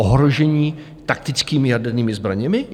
Ohrožení taktickými jadernými zbraněmi?